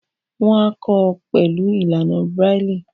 Wọ́n á kọ́ ọ pẹ̀lú ìlànà braille.